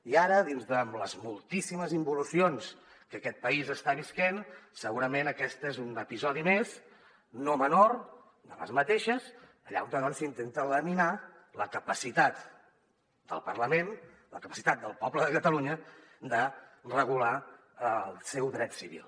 i ara amb les moltíssimes involucions que aquest país està vivint segurament aquest és un episodi més no menor doncs allà on s’intenta laminar la capacitat del parlament la capacitat del poble de catalunya de regular el seu dret civil